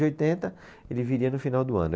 oitenta, ele viria no final do ano.